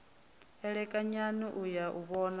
elekanyani u ya u vhonana